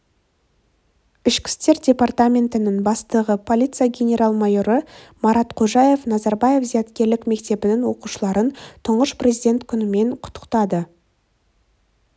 ішкі істер департаментінің бастығы полиция генерал-майоры марат қожаев назарбаев зияткерлік мектебінің оқушыларын тұңғыш президент күнімен құттықтады